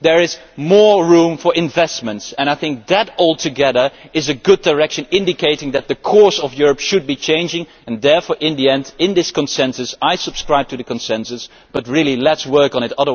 There is more room for investments, and I think that all together is a good direction indicating that the course of Europe should be changing and therefore in the end, in this consensus, I subscribe to the consensus, but really let us work on it.